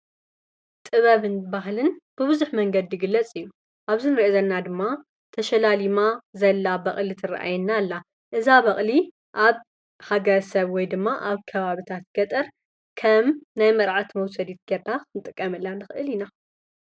ጥበብን ባህልን ብበዙሕ ምንገዲ ይግለፅ እዩ፡፡ ኣብዚ እንሪኦ ዘለና ድማ ተሸላሊማ ዘላ በቅሊ ትረአየና ኣላ፡፡ እዛ በቅሊ ኣብ ሃገረሰብ ወይ ድማ ኣብ ከባቢታት ገጠር ከም ናይ መርዓት መውሰዲት ጌርካ ክንጥቀመላ ንክእል ኢና፡፡